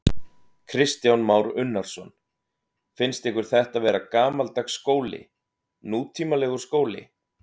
Kristján Már Unnarsson: Finnst ykkur þetta vera gamaldags skóli, nútímalegur skóli?